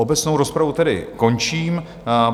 Obecnou rozpravu tedy končím.